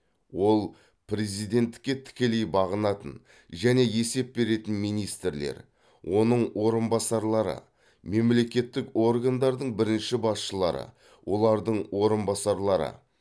ол президентке тікелей бағынатын және есеп беретін министрлер оның орынбасарлары мемлекеттік органдардың бірінші басшылары олардың орынбасарлары